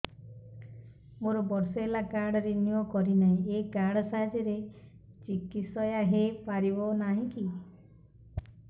ମୋର ବର୍ଷେ ହେଲା କାର୍ଡ ରିନିଓ କରିନାହିଁ ଏହି କାର୍ଡ ସାହାଯ୍ୟରେ ଚିକିସୟା ହୈ ପାରିବନାହିଁ କି